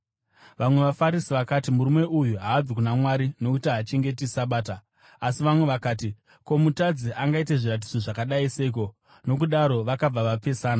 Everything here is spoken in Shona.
Vamwe vaFarisi vakati, “Murume uyu haabvi kuna Mwari, nokuti haachengeti Sabata.” Asi vamwe vakati, “Ko, mutadzi angaita zviratidzo zvakadai seiko?” Nokudaro vakabva vapesana.